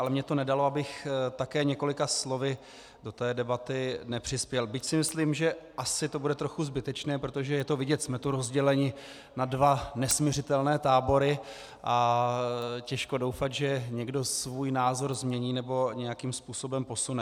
Ale mně to nedalo, abych také několika slovy do té debaty nepřispěl, byť si myslím, že to asi bude trochu zbytečné, protože je to vidět, jsme tu rozděleni na dva nesmiřitelné tábory a těžko doufat, že někdo svůj názor změní nebo nějakým způsobem posune.